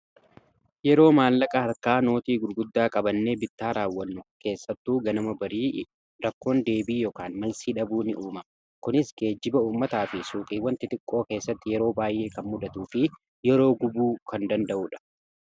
yeroo maallaqa harkaa nootii gurguddaa qabannee bittaa raawwannu keessattuu ganama barii rakkoon deebii yookaan malsii dhabuu ni uumama kunis geejiba uummataa fi suuqiiw wanti xiqqoo keessatti yeroo baay'ee kan mudatu fi yeroo gubuu kan danda'uudha